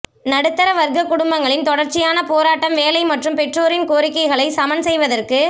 நடுத்தர வர்க்க குடும்பங்களின் தொடர்ச்சியான போராட்டம் வேலை மற்றும் பெற்றோரின் கோரிக்கைகளை சமன் செய்வதற்கு